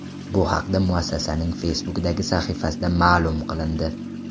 Bu haqda muassasaning Facebook’dagi sahifasida ma’lum qilindi .